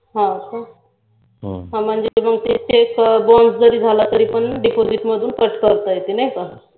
हा का म्हणजे check bounce जरी झाला तरी मग deposit मधून cut करता येत नाही का